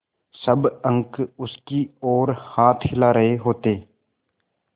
सब अंक उसकी ओर हाथ हिला रहे होते